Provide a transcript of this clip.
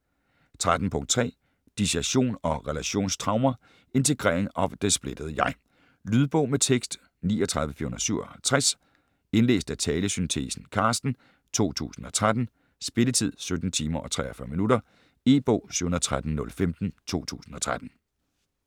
13.3 Dissosiasjon og relasjonstraumer: integrering av det splittede jeg Lydbog med tekst 39457 Indlæst af talesyntesen Carsten, 2013. Spilletid: 17 timer, 43 minutter. E-bog 713015 2013.